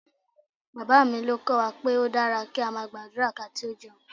Bàbá mi ló kọ́ wa pé ó dára kí a máa gbàdúrà kí a tó jẹun